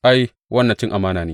Ai, wannan cin amana ne!